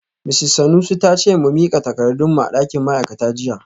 Misis Sanusi ta ce mu mika takardun mu a dakin ma’aikata jiya